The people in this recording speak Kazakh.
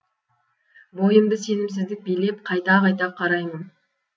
бойымды сенімсіздік билеп қайта қайта қараймын